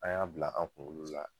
An y'a bila an' kuŋolo la